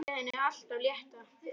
Segja henni allt af létta.